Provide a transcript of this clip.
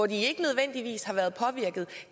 de ikke nødvendigvis har været påvirket